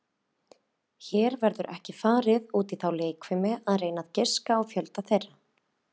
Hér verður ekki farið út í þá leikfimi að reyna að giska á fjölda þeirra.